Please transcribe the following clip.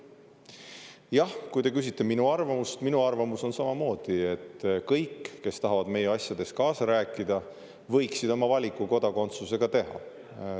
Jah, kui te küsite minu arvamust – minu arvamus on samamoodi, et kõik, kes tahavad meie asjades kaasa rääkida, võiksid oma valiku kodakondsuse suhtes teha.